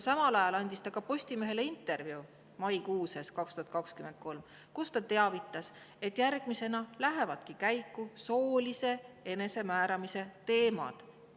Samal ajal, maikuu sees 2023, andis ta Postimehele ka intervjuu, kus teavitas, et järgmisena lähevadki käiku soolise enesemääramise teemad.